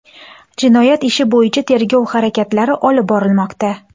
Jinoyat ishi bo‘yicha tergov harakatlari olib borilmoqda.